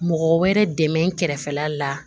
Mɔgɔ wɛrɛ dɛmɛ kɛrɛfɛla la